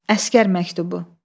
Əsgər məktubu.